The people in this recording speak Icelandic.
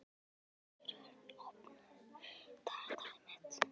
Sigurörn, opnaðu dagatalið mitt.